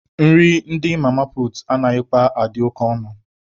Nri ndị mama puutu anaghịkwa adị oke ọnụ